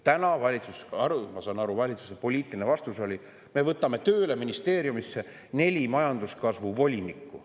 Täna oli, nagu ma aru saan, valitsuse poliitiline vastus selline: me võtame ministeeriumisse tööle neli majanduskasvu volinikku.